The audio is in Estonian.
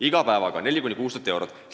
Iga päevaga kaotame 4000–6000 eurot.